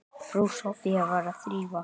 Frú Soffía var að þrífa.